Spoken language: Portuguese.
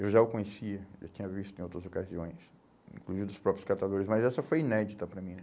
Eu já o conhecia, já tinha visto em outras ocasiões, inclusive dos próprios catadores, mas essa foi inédita para mim.